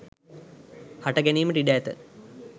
හට ගැනීමට ඉඩ ඇත